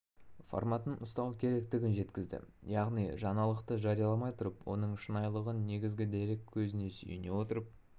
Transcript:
форматын ұстану керектігін жеткізді яғни жаңалықты жарияламай тұрып оның шынайылығын негізгі дерек көзіне сүйене отырып